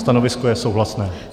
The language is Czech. Stanovisko je souhlasné.